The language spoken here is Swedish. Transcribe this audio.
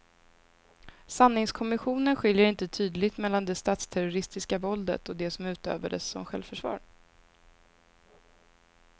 Sanningskommissionen skiljer inte tydligt mellan det statsterroristiska våldet och det som utövades som självförsvar.